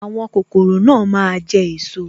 Àwọn kokoro náà máa jẹ esot